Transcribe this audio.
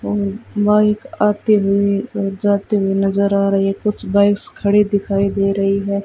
Bike आते हुए वे जाते हुए नजर आ रही है कुछ बाइक्स खड़ी दिखाई दे रही है।